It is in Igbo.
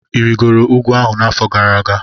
Ị rịgoro ugwu ahụ n'afọ gara aga?